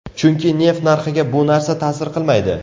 Chunki neft narxiga bu narsa ta’sir qilmaydi.